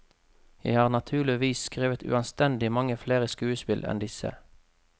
Jeg har naturligvis skrevet uanstendig mange flere skuespill enn disse.